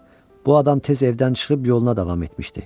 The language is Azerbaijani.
Bu adam tez evdən çıxıb yoluna davam etmişdi.